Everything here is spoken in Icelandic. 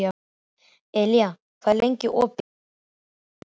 Elía, hvað er lengi opið í Kvikk?